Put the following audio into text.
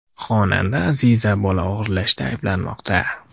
Xonanda Aziza bola o‘g‘irlashda ayblanmoqda.